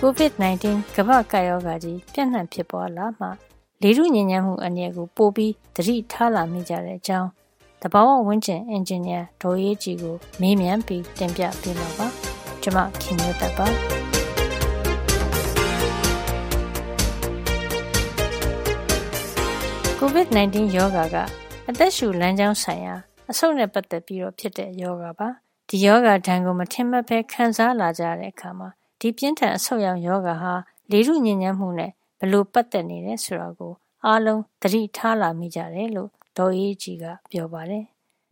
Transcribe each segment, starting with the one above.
COVID 19 ကမ္ဘာ့ကပ်ရောဂါကြီး ပြန့်နှံ့ ဖြစ်ပွါးလာမှ လေထုညစ်ညမ်းမှု အန္တရာယ်ကို ပိုပြီး သတိထားလာမိကြတဲ့အကြောင်း သဘာဝဝန်းကျင် အင်ဂျင်နီယာ ဒေါ်အေးအေးကြည်ကို မေးမြန်းပြီး တင်ပြပေးမှာပါ။ COVID 19 ရောဂါက အသက်ရှုလမ်းကြောင်းဆိုင်ရာ အဆုတ်နဲ့ပတ်သက်ပြီးတော့ ဖြစ်တဲ့ ရောဂါပါ။ ဒီရောဂါဒဏ်ကို မထင်မှတ်ပဲ ခံစားလာကြရတဲ့ အခါမှာ ဒီပြင်းထန် အဆုတ်ယောင် ရောဂါဟာ လေထု ညစ်ညမ်းမှုနဲ့ ပတ်သက်နေတယ် ဆိုတာကို အားလုံး သတိထား လာမိကြတယ်လို့ ဒေါ်အေးအေးကြည်က ပြောပါတယ်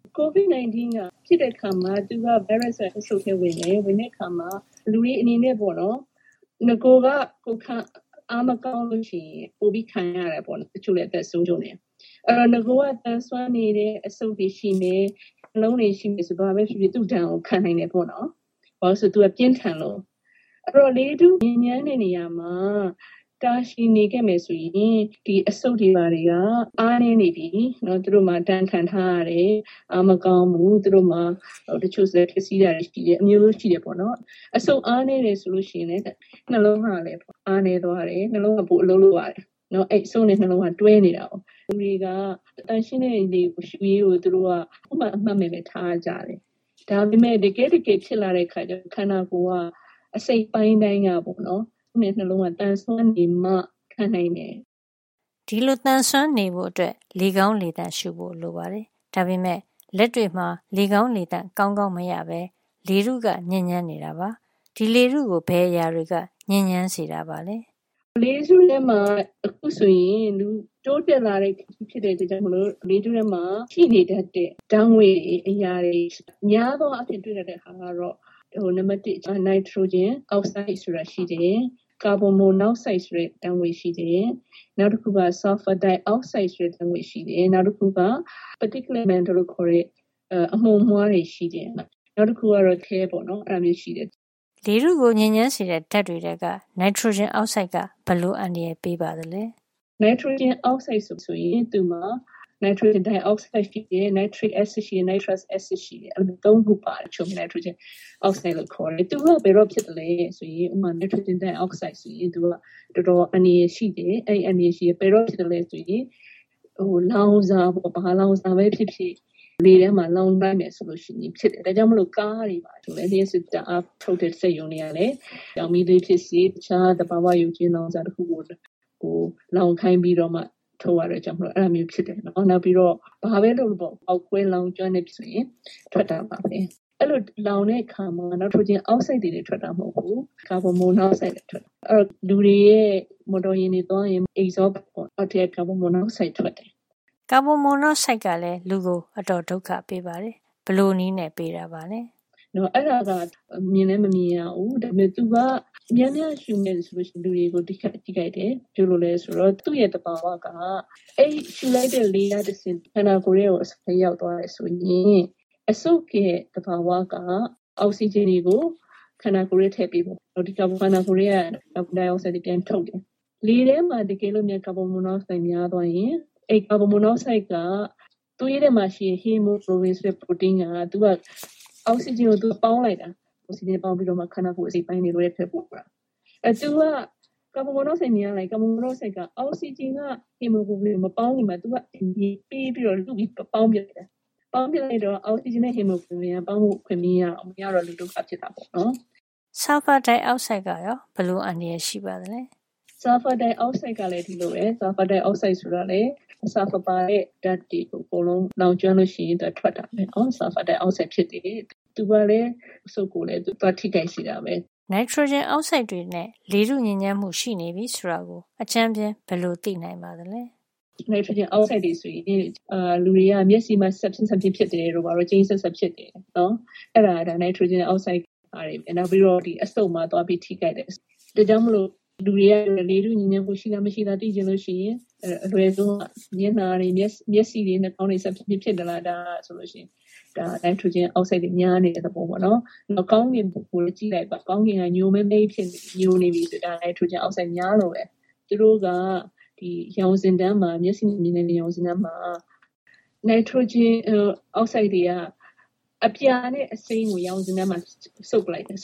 ။ ဒေါ်အေးအေးကြည်။ ။“ COVID 19 ရောဂါ ဖြစ်တဲ့ အခါမှာ သူက ဗိုင်းရပ်စ်က အဆုတ်ထဲ ဝင်တယ်။ ဒီလို ဝင်တဲ့ အခါမှာ နဂိုက ကိုယ်ခံအား မကောင်းဘူး ဆိုရင် ပိုပြီး ခံရတယ် ပေါ့နော်။ တချို့လည်း အသက်ပါဆုံးရတယ်။ အဲဒီတော့ နဂိုက သန်စွမ်းနေတဲ့ အဆုတ်တွေ ရှိမယ်။ နှလုံးတွေ ရှိမယ် ဆိုရင် ဘာပဲဖြစ်ဖြစ် သူ့ဒဏ်ကို ခံနိုင်မယ်ပေါ့နော်။ ဘာလို့လည်း ဆိုတော့ သူက ပြင်းထန်လို့။ အဲဒီတော့ လေထု ညစ်ညမ်းတဲ့ နေရာမှာ တာရှည် နေခဲ့မယ် ဆိုရင် ဒီအဆုတ်တွေ ဘာတွေက အားနဲနေပြီ။ သူတို့မှာ ဒဏ်ခံထားရတယ်။ အားမကောင်းဘူး။ နောက် တချို့လည်း ပျက်စီးနေတာတွေ ရှိတယ်။ အမျိုးမျိုးပေါ့နော်။ အဆုတ် အားနဲနေပြီ ဆိုရင် နှလုံးကလည်း အားနဲသွားတယ်။ နှလုံးက ပိုအလုပ်လုပ်ရတယ်။ အဆုတ်နဲ့ နှလုံး ကိစ္စက တွဲနေတာကိုး။ လူတွေက သန့်ရှင်းတဲ့ လေကို ရှုရေးကို အမှုမဲ့ အမှတ်မဲ့ ထားကြတယ်။ ဒါပေမယ့် တကယ့်တကယ် ဖြစ်လာတဲ့ အခါကျတော့ ခန္ဓာကိုယ်က အစိတ်အပိုင်းတိုင်းက အဆုတ်နဲ့နှလုံးက သန်စွမ်းနေမှ ခံနိုင်တယ်။” အဲဒီလို သန်စွမ်းနေဖို့ အတွက် လေကောင်းလေသန့် ရှုဖို့ လိုအပ်ပါတယ်။ ဒါပေမယ့် လက်တွေ့မှာ လေကောင်းလေသန့် ကောင်းကောင်း မရပဲ လေထုက ညစ်ညမ်းနေတာပါ။ လေထုကို ဘယ်အရာ တွေကညစ်ညမ်းစေပါသလဲ။ ဒေါ်အေးအေးကြည်။ ။ “လေထုထဲမှာ အခုဆိုရင် တိုးတက်လာတဲ့ ခေတ်ဖြစ်တဲ့ အတွက် ကြောင့် လေထုထဲမှာ ပြည့်နေတတ်တဲ့ ဓါတ်ငွေ့တွေ၊ အရာတွေ အဖြစ် များသောအားဖြင့် တွေ့ရတတ်တာ ကတော့ နံပတ် ၁ က နိုက်ထရိုဂျင် အောက်ဆိုဒ်ဆိုတာ ရှိတယ်။ ကာဗွန်မိုနောက်ဆိုဒ် ဆိုတဲ့ ဓါတ်ငွေ့ရှိတယ်။ နောက်တခုက ဆာလ်ဖာဒိုင်အောက်ဆိုဒ် ဆိုတဲ့ ဓါတ်ငွေ့ရှိတယ်။ နောက်တခုက particular matter လို့ခေါ်တဲ့ အမှုန်အမွှားတွေ ရှိတယ်။ နောက်တခုကတော့ ခဲ - lead ပေါ့နော်။” လေထုကို ညစ်ညမ်းစေတဲ့ ဓါတ်တွေ ထဲက နိုင်ထရိုဂျင်အောက်ဆိုဒ် က ဘယ်လို အန္တရာယ် ပေးပါသလဲ။ ဒေါ်အေးအေးကြည်။ ။“ နိုက်ထရိုဂျင် အောက်ဆိုဒ် ဆိုရင် သူ့မှာ နိုက်ထရိုဂျင် ဒိုင်အောက်ဆိုဒ် ဖြစ်ဖြစ်၊ နိုက်ထရစ်အက်ဆစ် ဖြစ်ဖြစ်၊ နိုက်ထရပ်စ် အက်ဆစ် ဖြစ်ဖြစ် သူတို့မှာ အဲဒီ ၃ ခု ပါတယ်။ အဲဒါကို ခြုံပြီးတော့ နိုက်ထရိုဂျင် အောက်ဆိုဒ် လို့ ခေါ်တယ်။ သူတို့က ဘယ်တော့ ဖြစ်သလဲ ဆိုရင် ဥပမာ နိုက်ထရိုဂျင် ဒိုင်အောက်ဆိုဒ် ဆိုရင် သူက တော်တော် အန္တရာယ် ရှိတယ်။ သူက ဘယ်ကရလဲ ဆိုရင် လောင်စာ၊ ဘာလောင်စာပဲ ဖြစ်ဖြစ် လေထဲမှာ လောင်လိုက်မယ် ဆိုရင် ဖြစ်တယ်။ ဒါကြောင့် မို့ကားတွေ၊ လ ျှပ်စစ် ဓါတ်အားထုတ်တဲ့ စက်ရုံတွေ ကလည်း ကျောက်မီးသွေး ဖြစ်ဖြစ်၊ တခြား သဘာဝ ရုပ်ကြွင်း လောင်စာတွေကပဲ ဖြစ်ဖြစ်၊ လောင်ခိုင်းပြီးတော့မှာ ထုတ်ရတဲ့ အတွက်ကြောင့်မို့ အဲဒါမျိုးဖြစ်တယ်ပေါ့နော်။ နောက်ပြီး တော့ ဘာပဲ လုပ်လုပ်ပေါ့၊ ဖေါက်ခွဲ လောင်ကျွမ်းလို့ ရှိရင် ထွက်တာပါပဲ။ အဲဒီလို လောင်တဲ့ အခါမှာ နိုက်ထရိုဂျင်အောက်ဆိုဒ် တင်ထွက်တာ မဟုတ်ဖူး၊ ကာဗွန်မိုနောက်ဆိုဒ်လည်း ထွက်တယ်။ နောက် လူတွေရဲ့ မော်တော်ယာဉ်တွေ သွားနေရင် အဲဒီ အိတ်ဇောပိုက် အောက်ထဲက ကာဗွန်မိုနောက်ဆိုဒ်က ထွက်တယ်။” ကာဗွန်မိုနောက်ဆိုဒ်ကလည်း လူကို အတော် ဒုက္ခ ပေးပါတယ်။ ဘယ်လို နည်းနဲ့ ပေးတာပါလဲ။ ဒေါ်အေးအေးကြည်။ ။ “အဲဒါက မြင်လည်း မမြင်ရဘူး။ ဒါပေမယ့် များများရှုမိရင် လူတွေကို ထိခိုက်တယ်။ ဘာကြောင့်လည်း ဆိုတော့ သူ့သဘာဝက အဲဒီ ရှုလိုက်တဲ့ လေကတဆင့် ခန္ဓာကိုယ်ထဲကို ဝင်သွားတယ် ဆိုရင်၊ အဆုတ်ရဲ့ သဘာဝက အောက်ဆီဂျင်တွေကို ခန္ဓာကိုယ်ထဲ ထည့်ပေးတယ်။ နောက် ခန္ဓာကိုယ်ထဲက ကာဗွန်ဒိုင်အောက်ဆိုဒ်တွေ ပြန်ထုတ်တယ်။ တကယ်လို့ လေထဲမှာ ကာဗွန်မိုနောက်ဆိုဒ် များသွားရင် သူက သွေးထဲမှာ ရှိတဲ့ ဟီမိုကလိုဗင် ဆိုတဲ့ ပရိုတိန်းက အောက်ဆီဂျင်ကို သူပေါင်းလိုက်တာ။ ပြီးတော့မှ ခန္ဓာကိုယ် အစိတ်အပိုင်းတွေထဲကို သွားတာ။ အဲ သူက ကာဗွန်မိုနောက်ဆိုဒ် များရင် ကာဗွန်မိုနောက်ဆိုဒ်က အောက်ဆီဂျင်နဲ့ ဟီမိုကလိုဗင် မပေါင်းခင် သူက ဆီးပြီး ပေါင်းပစ်လိုက်တာ။ အဲဒီလို ဖြစ်တော့ အောက်ဆီဂျင်နဲ့ ဟီမိုကလိုဗင်က ပေါင်းဖို့ အခွင့် မရတော့ဘူး။ မရတော့ လူဒုက္ခ ဖြစ်တာပေါ့။” ဆာလ်ဖာဒိုင်အောက်ဆိုဒ် ကရော ဘယ်လိုအန္တရာယ် ရှိပါသလဲ။ ဒေါ်အေးအေးကြည်။ ။ “ဆာလဖာ ဒိုင်အောက်ဆိုဒ်ကလည်း ဒီလိုပဲ။ သူကလည်း ဆာလ်ဖာပါတဲ့ ဓါတ်တွေ လောင်ကျွမ်းလို့ ထွက်လာတာပေါ့နော်။ သူကလည်း အလားတူ ထိခိုက်စေတာပဲ။” နိုက်ထရိုဂျင်အောက်ဆိုဒ်တွေနဲ့ လေထုညစ်ညမ်းမှု ရှိနေပြီ ဆိုတာကို အကြမ်းဖျင်းဘယ်လို သိနိုင်ပါသလဲ။ ဒေါ်အေးအေးကြည်။ ။“နိုက်ထရိုဂျင်အောက်ဆိုဒ်တွေဆိုရင် လူတွေက မျက်စိမှာ စပ်ဖျင်းစပ်ဖျင်း ဖြစ်တယ်တို့၊ ကြိမ်းစပ်စပ် ဖြစ်တယ် ဆိုရင် အဲဒါက နိုက်ထရိုဂျင်အောက်ဆိုဒ်။ နောက်ပြီး အဆုတ်မှာ သွားပြီးထိခိုက်တယ်။ ဒါကြောင့်မို့ လူတွေက လေထုညစ်ညမ်းမှု ရှိလား မရှိဘူးလား သိချင်ရင် အလွယ်ဆုံးက မျက်နှာတွေ၊ မျက်စိတွေ၊ နှာခေါင်းတွေ စပ်ဖျင်းဖျင်း ဖြစ်သလား။ ဒါက နိုင်ထရိုဂျင် အောက်ဆိုဒ်တွေ များနေတဲ့ သဘောပေါ့နော်။ နောက် ကောင်းကင်ကို ကြည့်လိုက်ပါ ကောင်းကင်က ညိုမဲမဲကြီး ဖြစ်နေပြီ ဆိုရင် အဲဒါ နိုက်ထရိုဂျင်အောက်ဆိုဒ်တွေ များလို့ပဲ။ သူတို့က ရောင်စဉ်တန်းမှာ၊ မျက်စိက မြင်ရတဲ့ ရောင်စဉ်တန်းမှာ နိုက်ထရိုဂျင်အောက်ဆိုဒ် တွေက အပြာနဲ့ အစိမ်းကို ရောင်စဉ်တန်းမှာ စုပ်ယူလိုက်တယ်။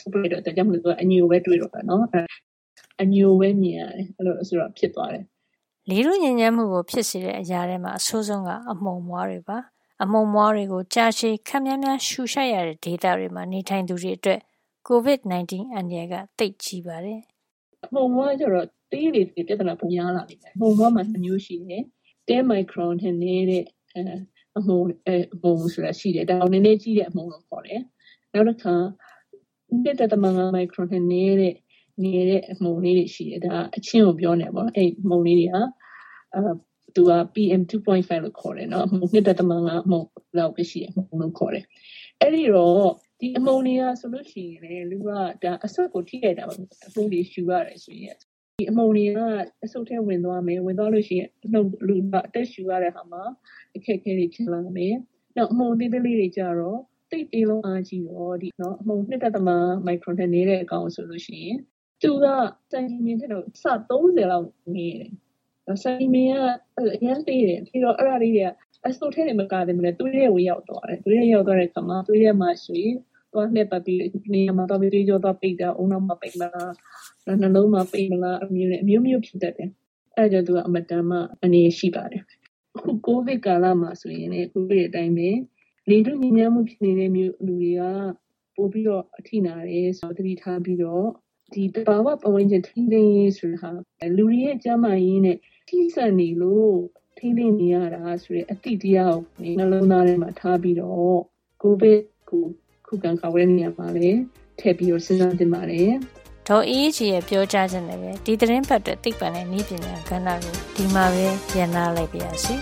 ဒါကြောင့်မို့ သူက အညိုပဲ တွေ့ရတော့တာပေါ့နော်။” လေထုညစ်ညမ်းမှုကို ဖြစ်စေတဲ့ အရာထဲမှာ အဆိုးဆုံးက အမှုန်အမွှားတွေပဲ ဖြစ်ပါတယ်။ အမှုန်မွှားတွေကို ကြာရှည် ခပ်များများ ရှုရှိုက်ရတဲ့ ဒေသတွေမှာ နေထိုင်သူတွေ အတွက် Covid 19 အန္တရာယ် က သိပ်ကြီးပါတယ်။ ဒေါ်အေးအေးကြည်။ ။“ အမှုန်အမွှား ဆိုတာ သေးလေ ပြဿနာ ပိုများလေပါပဲ။ အမှုန်အမွှားမှာ ၂ မျိုး ရှိတယ်။ ၁၀ မိုက်ခရွန် အရွယ်လောက်သေးတဲ့ အမှုန်တွေရှိတယ်။ ဒါကနဲနဲကြီးတဲ့ အမှုန်လို့ခေါ်တယ်။ နောက်တခါ။ သူ့ထက်ငယ်တဲ့ အမှုန်တွေ။ ၂.၈ မိုက်ခရွန်အမှုန်တွေ ရှိတယ်။ ဒါက အချင်းကို ပြောတာနော်။ အဲဒီအမှုန်လေး တွေကို pm 2.5 လို့ခေါ်တယ်။ ၂.၅ အမှုန်။ ဒီအမှုန်တွေက အဆုတ်ကို ထိခိုက်စေတာပဲ။ အမှုန်တွေ ရှုရတယ် ဆိုတော့။ ဒီအမှုန်တွေက အဆုတ်ထဲ ဝင်သွားမယ်။ အသက်ရှုရတဲ့ အခါမှာ အခက်အခဲတွေ ဖြစ်မယ်။ နောက် အမှုန်သေးသေးလေး တွေ ကျတော့ သိပ်သေးလွန်းအားကြီးတော့ အမှုန် ၂.၅ မိုက်ခရွန်ထက် ငယ်တာ ဆိုလို့ရှိရင် သူက ဆံခြည်မျှင်ထက် အဆ ၃၀ လောက် ငယ်တယ်။ အရမ်းသေးတယ်။ အဲဒီတော့ သူတို့က အဆုတ်ထဲ တင် မကတော့ပဲ သွေးထဲကို ရောက်သွားတယ်။ အဲဒီလို ရောက်သွားတဲ့ အခါ သွေးထဲမှာ ပါပြီး လှည့်ပတ် သွားတဲ့အခါ တနေရာရာမှာ သွေးကြောသွားပိတ်တာ၊ ဦးနှောက်မှာ ပိတ်မှာလား၊ နှလုံးမှာ ပိတ်မှာလား၊ အမျိုးမျိုး ပူရတယ်။ အဲဒါကြောင့် သူက အင်မတန် အန္တရာယ် ရှိပါတယ်။ အခု Covid ကာလမှာ ဆိုရင် သိတဲ့ အတိုင်းပဲ လေထုညစ်ညမ်းမှု ဆိုးတဲ့ နေရာတွေက ပိုပြီးတော့ အထိနာတယ် ဆိုတာ သတိထားပြီးတော့ ဒီသဘာဝ ပတ်ဝန်းကျင် ထိန်းသိမ်းရေး ဆိုတာ လူတွေရဲ့ ကျန်းမာရေးနဲ့ ထိစပ်နေလို့ ထိန်းသိမ်းနေရတာ ဆိုတဲ့ အသိတရားကို နှလုံးသား ထဲမှာ ထားပြီးတော့ Covid ကို ခုခံကာကွယ်တဲ့ နေရာမှာလည်း ထည့်ပြီးတော့ စဉ်းစား သင့်ပါတယ်။” ဒေါ်အေးအေးကြည်ရဲ့ ပြောကြားချက်နဲ့ ပဲ ဒီသီတင်းပတ်အတွက် သိပ္ဗံနဲ့ နည်းပညာ ကဏ္ဍကို ဒီမှာပဲ ရပ်နားလိုက်ပါရစေ